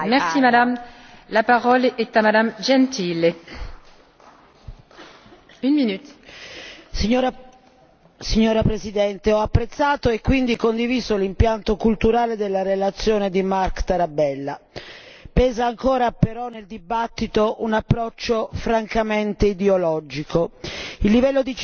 Signora Presidente, onorevoli colleghi, ho apprezzato e quindi condiviso l'impianto culturale della relazione di Marc Tarabella. Pesa ancora però nella discussione un approccio, francamente, ideologico. Il livello di civiltà si misura con l'esigibilità dei diritti ma soprattutto con la declinazione di questi a favore delle persone